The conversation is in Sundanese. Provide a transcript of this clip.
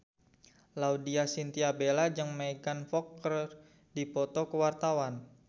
Laudya Chintya Bella jeung Megan Fox keur dipoto ku wartawan